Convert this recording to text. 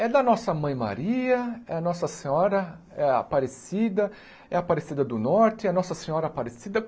É da Nossa Mãe Maria, é Nossa Senhora eh Aparecida, é Aparecida do Norte, é Nossa Senhora Aparecida.